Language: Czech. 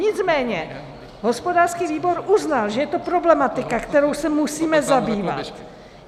Nicméně hospodářský výbor uznal, že je to problematika, kterou se musíme zabývat.